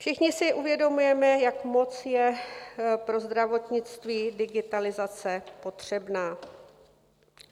Všichni si uvědomujeme, jak moc je pro zdravotnictví digitalizace potřebná.